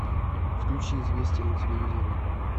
включи известия на телевизоре